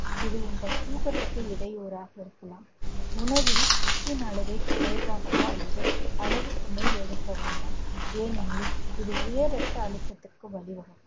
இது உங்கள் தூக்கத்துக்கு இடையூறாக இருக்கலாம் உணவில் உப்பின் அளவை குறைவாகவோ அல்லது அளவுக்கு மேல் எடுக்க வேண்டாம். ஏனெனில் இது உயர் ரத்த அழுத்தத்திற்கு வழி வகுக்கும்